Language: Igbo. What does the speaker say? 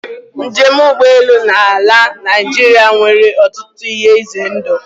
Njem ụgbọelu na ala Naịjirịa nwere ọtụtụ ihe ize ndụ.